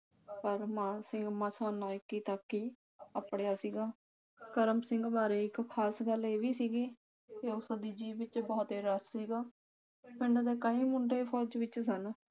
ਪਰ ਮਾਨ ਸਿੰਘ ਮਸਾਂ ਨਾਇਕੀ ਤਕ ਹੀ ਅਪੜਿਆ ਸੀ ਕਰਮ ਸਿੰਘ ਬਾਰੇ ਇਕ ਖ਼ਾਸ ਗੱਲ ਇਹ ਵੀ ਸੀਗੀ ਕਿ ਉਸ ਦੀ ਜੀਭ ਵਿਚ ਬਹੁਤੇ ਰਸ ਸੀਗਾ ਪਿੰਡ ਦੇ ਕਈ ਮੁੰਡੇ ਫ਼ੌਜ ਵਿਚ ਸਨ